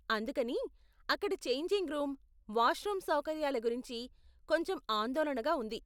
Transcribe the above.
అందుకని, అక్కడ changing room, wash room సౌకర్యాల గురించి కొంచెం ఆందోళనగా ఉంది.